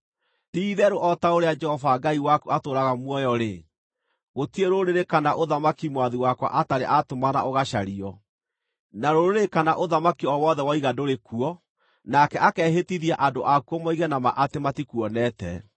Ti-itheru o ta ũrĩa Jehova Ngai waku atũũraga muoyo-rĩ, gũtirĩ rũrĩrĩ kana ũthamaki mwathi wakwa atarĩ aatũmana ũgacario. Na rũrĩrĩ kana ũthamaki o wothe woiga ndũrĩ kuo, nake akehĩtithia andũ akuo moige na ma atĩ matikuonete.